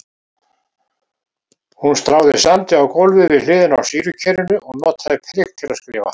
Hún stráði sandi á gólfið við hliðina á sýrukerinu og notaði prik til að skrifa.